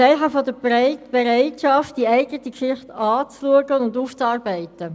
Das wäre ein Zeichen der Bereitschaft, die eigene Geschichte anzuschauen und aufzuarbeiten.